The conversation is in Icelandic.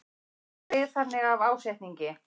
Þau eru byggð þannig af ásetningi.